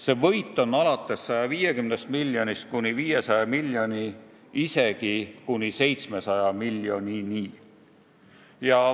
See võit võib olla 150 miljonit kuni 500 miljonit, isegi kuni 700 miljonit.